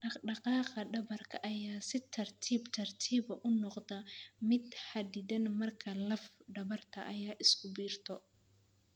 Dhaqdhaqaaqa dhabarka ayaa si tartiib tartiib ah u noqda mid xaddidan marka laf dhabarta ay isku biirto.